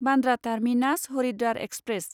Bandra terminus Haridwar express